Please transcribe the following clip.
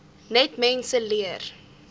net mense leer